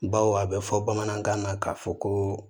Baw a bɛ fɔ bamanankan na k'a fɔ ko